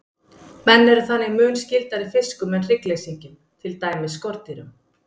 Menn eru þannig mun skyldari fiskum en hryggleysingjum, til dæmis skordýrum.